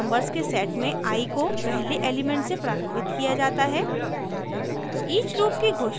1 से 20 तक नंबर्स के सेट में i को पहले एलिमेंट से प्रारम्भित किया जाता है